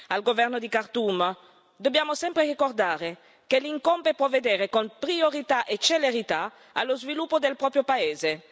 Al governo di Khartoum dobbiamo sempre ricordare che gli incombe provvedere con priorità e celerità allo sviluppo del proprio paese.